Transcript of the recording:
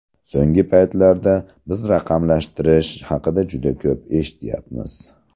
So‘nggi paytlarda biz raqamlashtirish haqida juda ko‘p eshityapmiz.